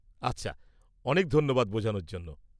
আচ্ছা, অনেক ধন্যবাদ বোঝার জন্য।